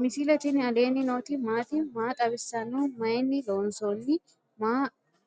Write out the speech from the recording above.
misile tini alenni nooti maati? maa xawissanno? Maayinni loonisoonni?